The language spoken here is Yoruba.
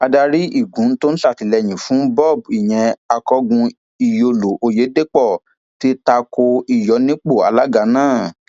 adarí igun tó ń sàtìlẹyìn fún bob ìyẹn akọgun iyọlọ ọyẹdẹpọ ti ta ko ìyọnipọ alága náà